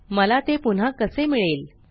मला ते पुन्हा कसे मिळेल